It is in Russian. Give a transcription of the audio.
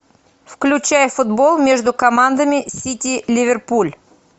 включай футбол между командами сити ливерпуль